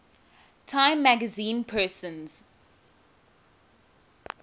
time magazine persons